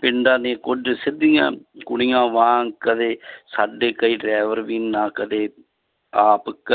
ਪਿੰਡਾਂ ਦੀਆਂ ਕੁੱਝ ਸਿੱਧੀਆਂ ਕੁੜੀਆਂ ਵਾਂਗ ਕਦੇ ਸਾਡੇ ਕਈ driver ਵੀ ਨਾ ਕਦੇ ਆਪ ਕ~